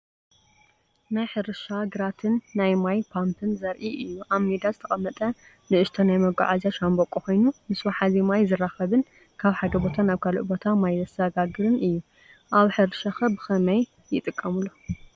ናይ ሕርሻ ግራትን ናይ ማይ ፓምፕን ዘርኢ እዩ። ኣብ ሜዳ ዝተቐመጠ ንእሽቶ ናይ መጓዓዝያ ሻምብቆ ኮይኑ ምስ ዋሕዚ ማይ ዝራኸብን ካብ ሓደ ቦታ ናብ ካልእ ቦታ ማይ ዘሰጋግርን እዩ። ኣብ ሕርሻከ ብኸመይ ይጥቀመሉ?